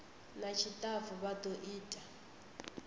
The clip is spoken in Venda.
na tshitafu vha do ita